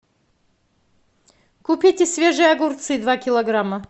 купите свежие огурцы два килограмма